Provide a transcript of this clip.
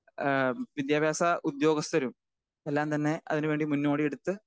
speaker 2 ആഹ്‌ വിദ്യാഭ്യാസ ഉദ്യോഗസ്ഥരും എല്ലാം തന്നെ അതിന് വേണ്ടി മുന്നോടിയെടുത്ത്